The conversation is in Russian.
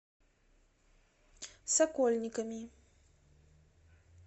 сокольниками